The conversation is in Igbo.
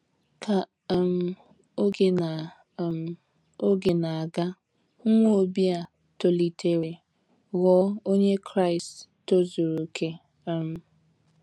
Ka um oge na um oge na - aga, nwa Obi a tolitere ghọọ onye Kraịst tozuru okè um.